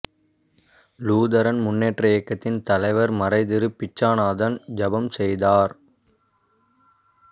Lutheran முன்னேற்ற இயக்கத்தின் தலைவர் மறைதிரு பிச்சானந்தம் ஜெபம் செய்தார்